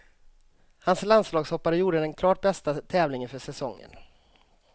Hans landslagshoppare gjorde den klart bästa tävlingen för säsongen.